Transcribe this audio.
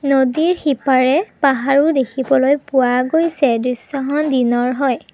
নদীৰ সিপাৰে পাহাৰো দেখিবলৈ পোৱা গৈছে দৃশ্যখন দিনৰ হয়।